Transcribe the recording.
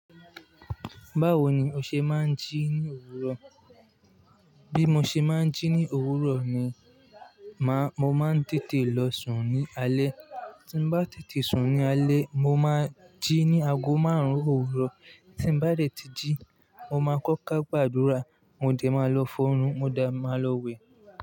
Báwo ni o ṣe máa ń jí ní òwúrọ̀? Bí mo ṣe máa ń jí ní òwúrọ̀ ni, màá, mo máa ń tètè lọ sùn ní alé. Tí mo bá tètè sùn ní alẹ́, mo máa jí ní ago márùn-ún òwúrọ̀. Tí mo bá dẹ̀ ti jí, mo máa kọ́kà gbàdúrà, mo dẹ̀ máa lọ fọnun, mo dẹ̀ máa lọ wẹ̀.